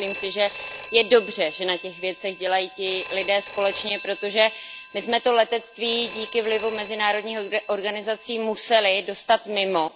Myslím si, že je dobře, že na těch věcech dělají ti lidé společně, protože my jsme to letectví díky vlivu mezinárodních organizací museli dostat mimo.